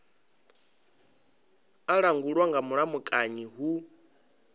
a langulwa nga mulamukanyi hu